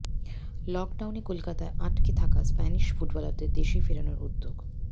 লকডাউনে কলকাতায় আটকে থাকা স্প্যানিশ ফুটবলারদের দেশে ফেরানোর উদ্যোগ